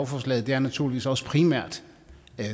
forslaget er naturligvis også primært